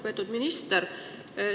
Lugupeetud minister!